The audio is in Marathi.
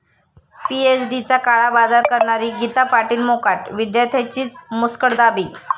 पीएचडीचा काळाबाजार करणारी गीता पाटील मोकाट, विद्यार्थ्यांचीच मुस्कटदाबी